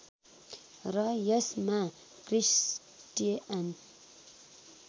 र यसमा क्रिस्टिआन